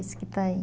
Esse que está aí.